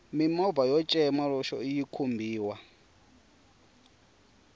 mimovha yo cema loxo yi khumbiwa